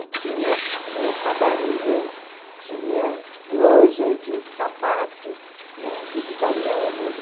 E tinha tinha padarias, tinha loja de sapato, né, dos italianos.